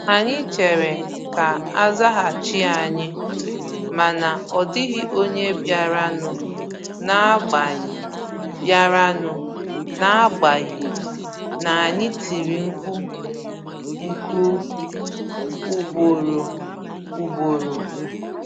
Anyị chèrè ka azaghachi ànyị, ma na ọ dịghị ònye biara nụ n'agbanyi biara nụ n'agbanyi n'anyi tiri mkpu nku ugboro ugboro.